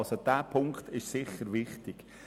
Dieser Punkt ist sicher wichtig.